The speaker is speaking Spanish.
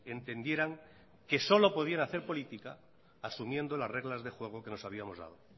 entendieran que solo podían hacer política asumiendo las reglas de juego que nos habíamos dado